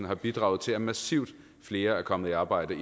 har bidraget til at massivt flere er kommet i arbejde